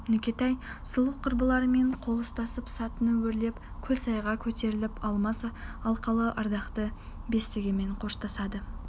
нүкетай сұлу құрбыларымен қол ұстасып сатыны өрлеп көлсайға көтеріліп алмас алқалы ардақты бесігімен қоштасады